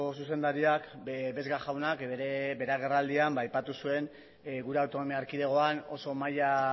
zuzendariak vesga jaunak bere agerraldian aipatu zuen gure autonomia erkidegoan oso maila